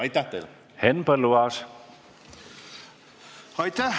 Aitäh!